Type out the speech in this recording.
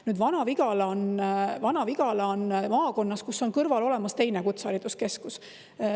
Nüüd, Vana-Vigala on maakonnas, kus on kõrval olemas teine kutsehariduskeskus.